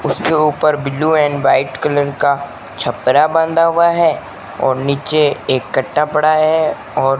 उसके ऊपर blue and white colour का छपरा बांधा हुआ है और नीचे एक कट्टा पड़ा है और --